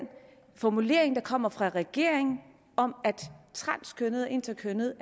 formulering der kommer fra regeringen om at transkønnede og interkønnede